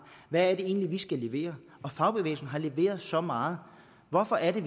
hvad er det egentlig vi skal levere og fagbevægelsen har leveret så meget hvorfor er det